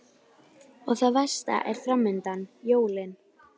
Skipið átti ekki afturkvæmt á norðurslóðir.